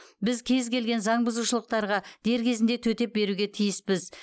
біз кез келген заң бұзушылықтарға дер кезінде төтеп беруге тиіспіз